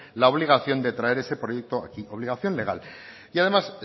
la obligación de traer ese proyecto aquí obligación legal y además